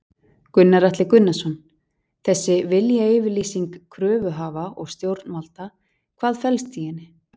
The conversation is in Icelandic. Gunnar Atli Gunnarsson: Þessi viljayfirlýsing kröfuhafa og stjórnvalda, hvað felst í henni?